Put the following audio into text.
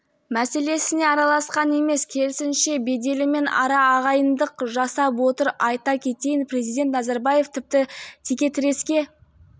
мәселесіне араласқан емес керісінше беделімен ара ағайындық жасап отыр айта кетейін президент назарбаев тіпті текетіреске